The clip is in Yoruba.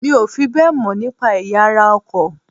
Mi ò fi bẹ́ẹ̀ mọ̀ nípa ẹ̀yà ara ọkọ̀